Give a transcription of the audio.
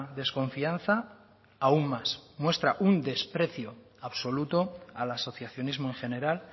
desconfianza aún más muestra un desprecio absoluto al asociacionismo en general